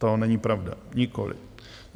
To není pravda, nikoliv.